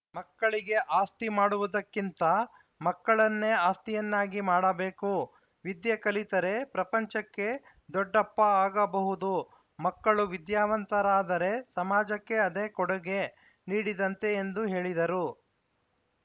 ಮಕ್ಕಳಿಗೆ ಆಸ್ತಿ ಮಾಡುವುದಕ್ಕಿಂತ ಮಕ್ಕಳನ್ನೇ ಆಸ್ತಿಯನ್ನಾಗಿ ಮಾಡಬೇಕು ವಿದ್ಯೆ ಕಲಿತರೇ ಪ್ರಪಂಚಕ್ಕೆ ದೊಡ್ಡಪ್ಪ ಆಗಬಹುದು ಮಕ್ಕಳು ವಿದ್ಯಾವಂತರಾದರೇ ಸಮಾಜಕ್ಕೆ ಅದೇ ಕೊಡುಗೆ ನೀಡಿದಂತೆ ಎಂದು ಹೇಳಿದರು